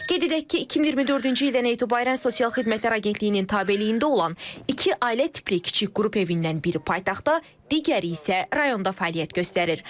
Qeyd edək ki, 2024-cü ildən etibarən sosial xidmətlər Agentliyinin tabeliyində olan iki ailə tipli kiçik qrup evindən biri paytaxtda, digəri isə rayonda fəaliyyət göstərir.